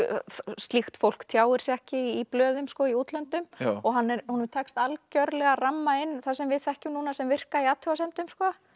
slíkt fólk tjáir sig ekki í blöðum sko í útlöndum og honum tekst algjörlega að ramma inn það sem við þekkjum núna sem virka í athugasemdum